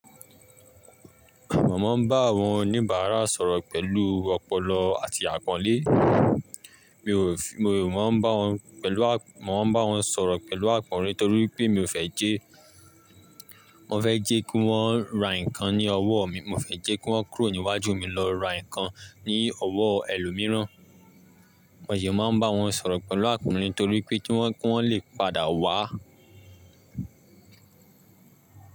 Mọ ma ń bá àwọn oníbàárà sọ̀rọ̀ pẹ̀lú ọpọlọ àti àpọ́nlé. Mi ò, mi ò má bá wọn pẹ̀lú, Mo ń bá wọn sọ̀rọ̀ pẹ̀lú àpọ́nlé torí pé mi ò fẹ́ jẹ́, mo fẹ́ jẹ́ kí wọ́n ra nǹkan ní ọwọ́ mi. Mo o fẹ́ jẹ́ kí wọ́n kúrò níwájú mi lọ ra nǹkan ní ọwọ́ ẹlòmíràn. Mo dẹ̀ máa ń bá wọn sọ̀rọ̀ pẹ̀lú àpọ́nlé torí pé kí wọ́n, kí wọ́n lè padà wá.